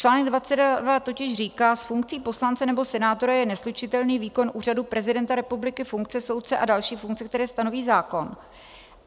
Čl. 22 totiž říká: "S funkcí poslance nebo senátora je neslučitelný výkon úřadu prezidenta republiky, funkce soudce a další funkce, které stanoví zákon."